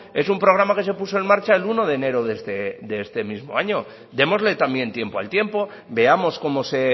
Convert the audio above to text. es un programa que se puso en marcha el uno de enero de este mismo año démosle también tiempo al tiempo veamos cómo se